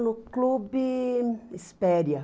No clube Espéria.